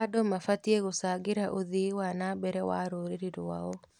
Andũ mabatiĩ gũcangĩra ũthii wa na mbere wa rũrĩrĩ rwao.